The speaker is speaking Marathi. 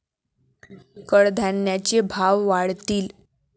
कडधान्यांचे भाव वाढतील.